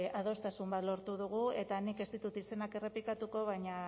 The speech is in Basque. adostasun bat lortu dugu eta nik ez ditut izenak errepikatuko baina